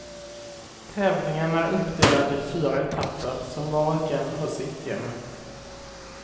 Tävlingen är uppdelad i fyra etapper, som var och en har sitt tema.